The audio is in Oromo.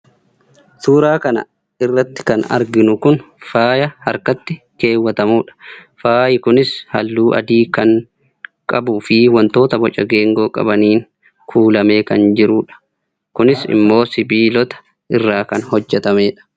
suuraa kan airratti kan arginu kun faaya harkattii keewwatamu dha. faayi kunis halluu adii kan qabuu fi wantoota boca geengoo qabaniin kuulamee kan jiru dha. kunis immoo sibiilota irraa kan hojjetamedha.